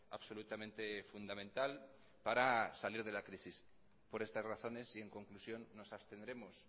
absolutamente fundamental para salir de la crisis por estas razones y en conclusión nos abstendremos